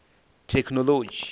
thekhinoḽodzhi